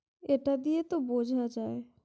এটা দিয়ে তো বোঝা যায় ।